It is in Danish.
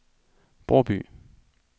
Bråby